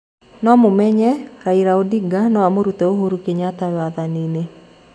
Mũmenye Raira Odinga no amũrute Uhuru Kĩnyata wathani-nĩ.